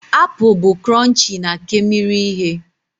Apụl bụ cronchii na kemmiri ihe.